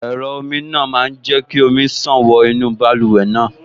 Ẹ̀rọ omi náà máa jẹ́ kí omi ṣàn wọ inú báluwẹ̀ náà